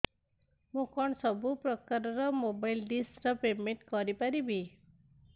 ମୁ କଣ ସବୁ ପ୍ରକାର ର ମୋବାଇଲ୍ ଡିସ୍ ର ପେମେଣ୍ଟ କରି ପାରିବି